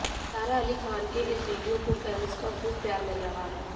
सारा अली खान के इस वीडियो को फैंस का खूब प्यार मिल रहा है